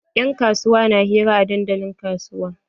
Yan kasuwa na hira a dandalin kasuwa.